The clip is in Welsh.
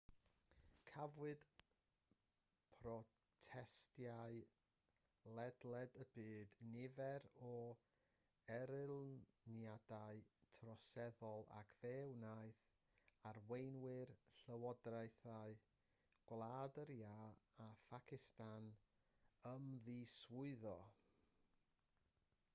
cafwyd protestiadau ledled y byd nifer o erlyniadau troseddol ac fe wnaeth arweinwyr llywodraethau gwlad yr iâ a phacistan ymddiswyddo